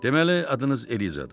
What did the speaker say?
Deməli, adınız Elizadır.